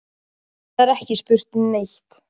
Það er ekki spurt um neitt.